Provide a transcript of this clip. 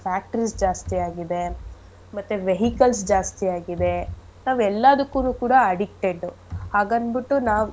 Factories ಎಲ್ಲ ಜಾಸ್ತಿ ಆಗಿದೆ ಮತ್ತೆ vehicles ಜಾಸ್ತಿ ಆಗಿದೆ ಎಲ್ಲದುಕ್ಕುನೂ ಕೂಡ addicted ಉ ಹಾಗನ್ಬಿಟ್ಟು ನಾವ್.